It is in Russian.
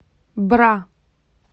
бра